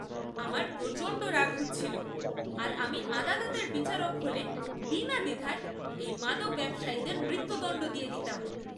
আমার প্রচণ্ড রাগ হচ্ছিল আর আমি আদালতের বিচারক হলে বিনা দ্বিধায় এই মাদক ব্যবসায়ীদের মৃত্যুদণ্ড দিয়ে দিতাম!